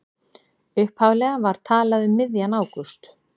Upphaflega var talað um miðjan ágúst